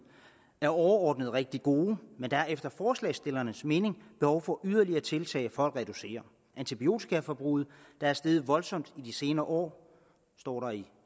er overordnet rigtig gode men der er efter forslagsstillernes mening behov for yderligere tiltag for at reducere antibiotikaforbruget der er steget voldsomt i de senere år står der i